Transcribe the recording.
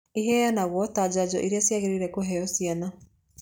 Ìheanagwo ta njanjo iria ciagĩrĩire kũheo ciana.